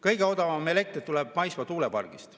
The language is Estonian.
Kõige odavam elekter tuleb maismaa tuulepargist.